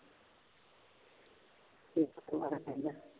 ਵਾਲਾ ਪੜ੍ਹਦਾ